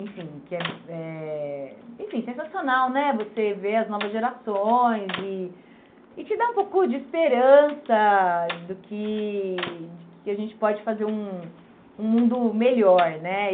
Enfim, que é é enfim sensacional né você ver as novas gerações e e te dar um pouco de esperança do que de que a gente pode fazer um um mundo melhor né.